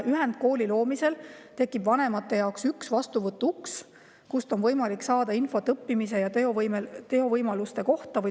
Ühendkooli loomisel tekib vanemate jaoks üks vastuvõtuuks, kust on võimalik saada infot õppimise ja toevõimaluste kohta.